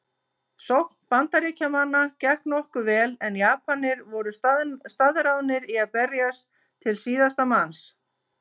Sókn Bandaríkjamanna gekk nokkuð vel en Japanir voru staðráðnir í að berjast til síðasta manns.